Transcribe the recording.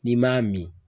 N'i m'a min